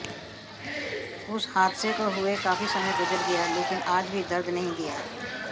उस हादसे को हुए काफी समय गुजर गया लेकिन आज भी दर्द नहीं गया